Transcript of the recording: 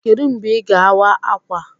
Kedụ mgbe Ị ga-awa ákwà?